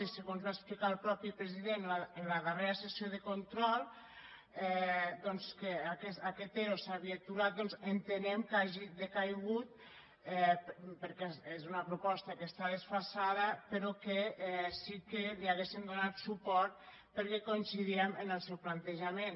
i segons que va explicar el mateix president en la darrera sessió de control que aquest ero s’havia aturat doncs entenem que hagi decaigut perquè és una proposta que està desfasada però sí que li hauríem donat suport perquè coincidíem en el seu plantejament